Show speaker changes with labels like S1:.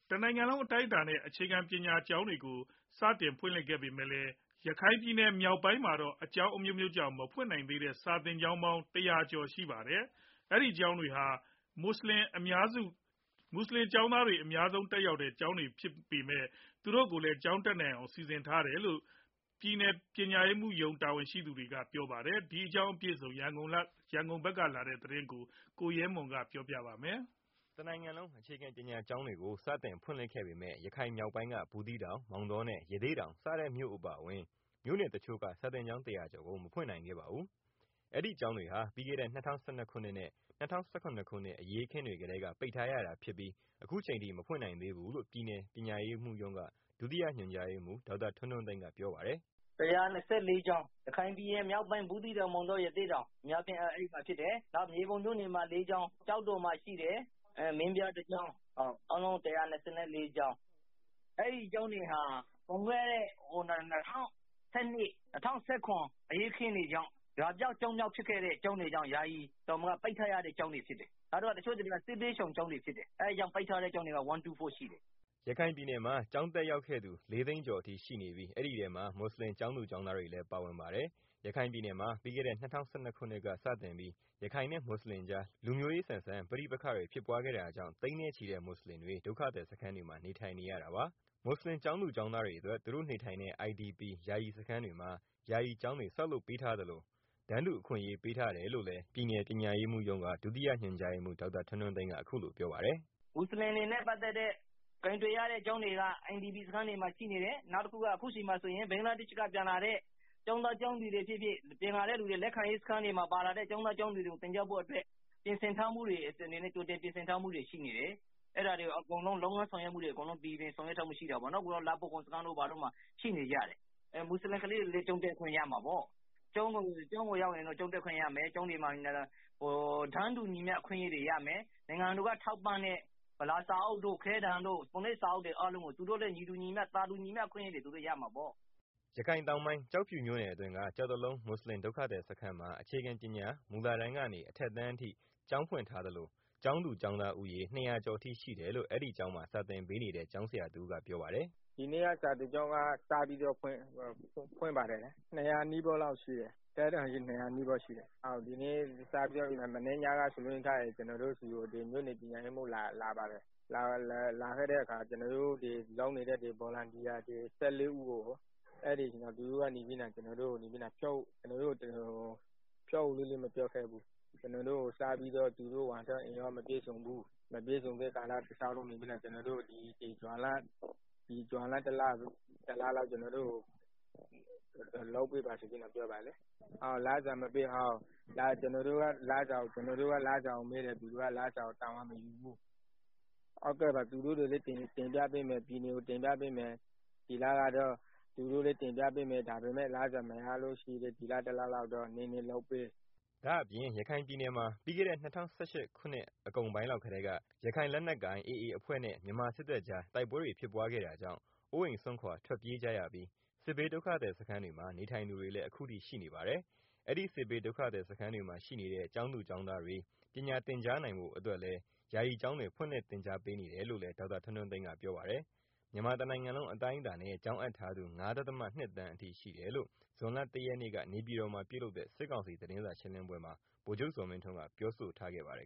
S1: တနိုင်ငံလုံး အတိုင်းအတာနဲ့ အခြေခံပညာကျောင်းတွေကို ကြာသပတေးနေ့မှာ စတင်ဖွင့်လှစ်ခဲ့ ပေမယ့် ရခိုင်ပြည်နယ်မြောက်ပိုင်းမှာတော့ အကြောင်းအမျိုးမျိုးကြောင့် မဖွင့်နိုင်သေးတဲ့ စာသင်ကျောင်းပေါင်း ၁၀၀ ကျော်အထိ ရှိနေပါတယ်။ အဲဒီကျောင်းတွေဟာ မွတ်ဆလင် အများဆုံး တက်ရောက်တဲ့ ကျောင်းတွေဖြစ်ပါတယ်။ ဒါပေမဲ့ မြို့နယ်ပညာရေးမှူးကတော့ ပြည်နယ်တွင်း မွတ်ဆလင်တွေ ကျောင်းတက်နိုင်ဖို့ စီစဉ်ပေးခဲ့တယ်လို့ပြောပါတယ်။ ရန်ကုန်က ပေးပို့လာတဲ့သတင်းကို ကိုရဲမွန် ပြောပြမှာပါ။
S2: တနိုင်င်လုံး အေခြခံပညာကျောင်းတွေကို ဇွန်(၂)ရက်နေ့မှာ စတင်ဖွင့်လှစ်ခဲ့ပေမဲ့ ရခိုင်မြောက်ပိုင်းက ဘူူးသီးတောင် မောင်တောနဲ့ ရသေ့တောင်စတဲ့ မြို့အပါအဝင် မြို့နယ်တစ်ချို့က စာသင်ကျောင်း ၁၀၀ကျော်ကို မဖွင့်နိုင်ခဲ့ပါဘူး။ အဲဒီကျောင်းတွေဟာ ပြီးခဲ့တဲ့ ၂၀၁၂၊ ၂၀၁၇ခုနှစ်အရေးအခင်းတွေကတည်းက ပိတ်ထားရတာဖြစ်ပြီး အခုအချိန်ထိ မဖွင့်နိုင်သေးဘူးလို့ ပြည်နယ်ပညာရေးမှူးရုံးက ဒုတိယညွန်ကြားရေးမှူး ဒေါက်တာ ထွန်းထွန်းသိန်းကပြောပါတယ်
S1: ။ “
S3: ၁၂၄ ကျောင်း ရခိုင်ပြည်နယ်မြောက်ပိုင်း ဘူးသီးတောင် မောင်တော ရသေ့တောင် အများအားဖြင့်က အဲဒီမှာဖြစ်တယ်။ နောက် မြေပုံမြို့နယ်မှာ ၄ကျောင်းရှိတယ်၊ ကျောက်တော်မှာ ရှိတယ်။ မင်းပြားမှာ ၁ကျောင်း အားလုံး ၁၂၄ကျောင်းဖြစ်တယ်။ အဲဒီကျောင်းတွေဟာ ၂၀၁၂ ၊ ၂၀၁၇ အရေးအခင်းတွေကြောင့် ရွာပျောက် ကျောင်းပျောက်ဖြစ်တာကြောင့် ပိတ်ထားရတဲ့ ကျောင်းတွေဖြစ်တယ်။ တစ်ချို့ ကျောင်းတွေက စစ်ပြေးရှောင်ကျောင်းတွေ ဖြစ်တယ် အဲတာကြောင့် ပိတ်ထားရတဲ့ ကျောင်းတွေက ၁၂၄ကျောင်းရှိတယ်။
S2: ” ရခိုင်ပြည်နယ်မှာ ဒီကနေ့ကျောင်းတက်ရောက်သူ ၄သိန်းကျော်အထိ ရှိနေပြီး အဲဒီထဲမှာ မွတ်ဆလင် ကျောင်းသူ ကျောင်းသားတွေလည်း ပါဝင်ပါတယ်။ ရခိုင်ပြည်နယ်မှာ ပြီးခဲ့တဲ့ ၂၀၁၂ ခုနှစ်ကစတင်ပြီး ရခိုင်နဲ့ မွတ်ဆလင်ကြား လူမျိုးရေးဆန်တဲ့ ပဋိပက္ခတွေ ဖြစ်ပွားခဲ့တာကြောင့် သိန်းနဲ့ချီတဲ့ မွတ်ဆလင်တွေ ဒုက္ခသည်စခန်းတွေမှာ နေထိုင်နေရတာပါ။ မွတ်ဆလင် ကျောင်းသူကျောင်းသားတွေအတွက် သူတို့နေထိုင်တဲ့ IDP ယာယီစခန်းတွေမှာ ယာယီကျောင်းတွေ ဆောက်လုပ်ပေးထားသလို တန်းတူအခွင့်အရေး ပေးထားတယ်လို့လည်း ပြည်နယ် ပညာရေးမှူးရုံးက ဒုတိယညွန်ကြားရေးမှူး ဒေါက်တာ ထွန်းထွန်းသိန်း ကပြောပါတယ်
S3: ။ “ မွတ်ဆလင်တွေနဲ့ ပတ်သတ်ပြီး ကိုင်တွယ်ရတဲ့ ကျောင်းတွေက IDP camp တွေမှာ ရှိနေတယ်၊ အခုဆိုရင် ဘင်္ဂလားဒေရှ့်ဖက်က ပြန်လာတဲ့ ကျောင်းသားကျောင်းသူတွေ ဖြစ်ဖြစ် လက်ခံရေး စခန်းတွေမှာ ပါလာတဲ့ ကျောင်းသူ ကျောင်းသားတွေကို သင်ကြားဖို့အတွက် ကြိုတင်ပြင်ဆင်ထားတာ ရှိတယ်၊ လုပ်ငန်းဆောင်ရွက်တာတွေ အားလုံး အဆင်ပြေပြေ ဆောင်ရွက်ထားပါတယ်။ လှဖိုးခေါင် စခန်းတို့ဘာတို့မှာ ရှိနေကြတယ်။ မွတ်ဆလင် ကလေးတွေလည်း ကျောင်းတက်ခွင့်ရမှာပေါ့၊ ကျောင်းကိုရောက်ရင် ကျောင်းတက်ခွင့်ရမယ် ကျောင်းမှာ တန်းတူ အခွင့်အရေးတွေရမယ် နိုင်ငံတော်က ထောက်ပံ့တဲ့ ဗလာစာအုပ်တို့ ခဲတံတို့ ပုံနိုပ်စာအုပ်တွေ အကုန်လုံး သူတို့လည်း သာတူညီမျှ အခွင့်အရေးရမှာပေါ့။
S2: ” ရခိုင်တောင်ပိုင်း ကျောက်ဖြူမြို့နယ်အတွင်းက ကျောက်တလုံး မွတ်ဆလင် ဒုက္ခသည်စခန်းမှာ အခြေခံပညာ မူလတန်းက အထက်အတန်းအထိ ကျောင်းဖွင့်ထားသလို ကျောင်းသူကျောင်းသားဦးရေ ၂၀၀ ကျော်အထိ ရှိတယ်လို့ အဲဒီကျောင်းမှာ စာသင်ပေးနေတဲ့ ကျောင်းဆရာတစ်ဦးက ပြောပါတယ်။
S1: “ ဒီနေ့က ကျောင်းစဖွင့်တယ် ကျောင်းသားဦးရေကတော့ အထက်တန်းအထိ ၂၀၀ နီးပါး လောက်ရှိပါတယ်၊ မနေ့ကတော့ ပညာရေးမှူးရောက်လာတယ်။ ကျနော်တို့ ဒီမှာ စေတနာ့ဝန်ထမ်းလုပ်နေတဲ့ ဆရာဆရာမ ၁၄ ဦးကို သူတို့မှာ ဝန်ထမ်းအင်အား မပြည့်စုံတဲ့အတွက် ဒီဇွန်လ တလလောက် လုပ်ပေးပါဆိုပြီးတော့ ပြောတယ်။ လစာမရပဲ ကျနော်တို့က လစာကိုမေးတော့ သူတို့က လစာကိုတာဝန်မယူဘူး၊ သူတို့ကတော့ ပြည်နယ်ကို တင်ပြပေးမယ် တကယ်လို့ လစာ မရလို့ရှိရင်လည်း ဒီလတစ်လလောက်တော့ နည်းနည်း လုပ်ပေးပါဆိုပြီး ပြောပါတယ်။
S2: ” ဒါအပြင့် ရခိုင်ပြည်နယ်မှာ ပြီးခဲ့တဲ့ ၂၀၁၈ အကုန်ပိုင်းလောက်ကတည်းက ရခိုင်လက်နက်ကိုင် AAအဖွဲ့နဲ့ မြန်မာစစ်တပ်ကြား တိုက်ပွဲတွေ ဖြစ်ပွားခဲ့တာကြောင့် အိုးအိမ်စွန့်ခွာ ထွက်ပြေးကြရပြီး စစ်ဘေးဒုက္ခသည် စခန်းတွေမှာ နေထိုင်သူတွေလည်း ခုထိရှိပါတယ်။ အဲဒီ စစ်ဘေးဒုက္ခသည်စခန်းတွေမှာ ရှိနေတဲ့ ကျောင်းသားကျောင်းသားတွေ ပညာသင်ကြားနိုင်ဖို့ အတွက်လည်း ယာယီကျောင်းတွေ ဖွင့်လှစ်သင်ကြားပေးနေတယ်လို့ ဒေါက်တာ ထွန်းထွန်းသိန်းကပြောပါတယ်။ မြန်မာတနိုင်ငံလုံး အတိုင်းအတားနဲ့ ကျောင်းအပ်ထားသူ (၅.၂) သန်းအထိ ရှိတယ်လို့ ဇွန်လ ၁ရက်နေ့ နေပြည်တော်မှာ ပြုလုပ်တဲ့ စစ်ကောင်စီ သတင်းစာရှင်းလင်းပွဲမှာ ဗိုလ်ချုပ် ဇော်မင်းထွန်းက ပြောဆိုထားပါတယ်